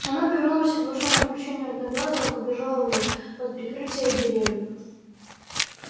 она повернулась и к большому облегчению одноглазого побежала в лес под прикрытие деревьев